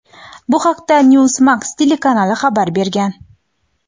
Bu haqda "NewsMax" telekanali xabar bergan.